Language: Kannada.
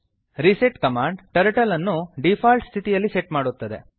ರಿಸೆಟ್ ಕಮಾಂಡ್ ಟರ್ಟಲ್ ಅನ್ನು ಡಿಫಾಲ್ಟ್ ಸ್ಥಿತಿಯಲ್ಲಿ ಸೆಟ್ ಮಾಡುತ್ತದೆ